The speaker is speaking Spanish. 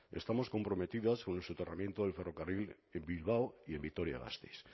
estamos comprometidas con el soterramiento del ferrocarril en bilbao y en vitoria gasteiz